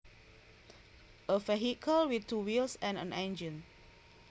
A vehicle with two wheels and an engine